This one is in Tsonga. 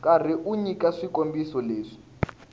karhi u nyika swikombiso leswi